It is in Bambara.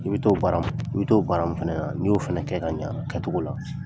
I bi t'o baara mun fana na n'i y'o fana kɛ ka ɲa kɛcogo la.